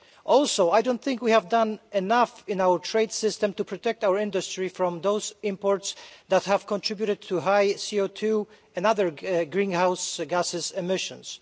Also I don't think we have done enough in our trade system to protect our industry from those imports that have contributed to high CO2 and other greenhouse gas emissions.